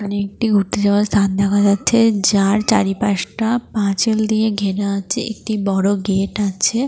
এখানে একটি ঘুরতে যাওয়ার স্থান দেখা যাচ্ছে যার চারিপাশটা পাঁচিল দিয়ে ঘেরা আছে। একটি বড় গেট আছে।